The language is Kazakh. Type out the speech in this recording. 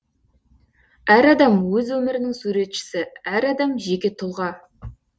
әр адам өз өмірінің суретшісі әр адам жеке тұлға